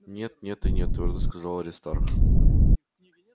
нет нет и нет твёрдо сказал аристарх